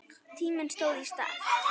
Tíminn stóð í stað.